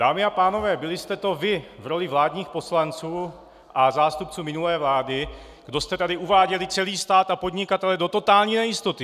Dámy a pánové, byli jste to vy v roli vládních poslanců a zástupců minulé vlády, kdo jste tady uváděli celý stát a podnikatele do totální nejistoty.